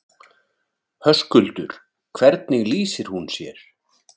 Höskuldur: Hvernig lýsir hún sér?